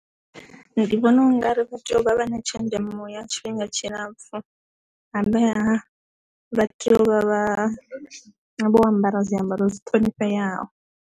Ndi vhona ungari vha tea u vha vha na tshenzhemo ya tshifhinga tshilapfu humbela vha tea u vha vha vho ambara zwiambaro dzi thonifheyaho.